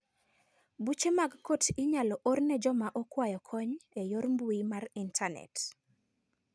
Buche mag kot inyalo or ne joma okwayo kony e yor mbui mar intanet.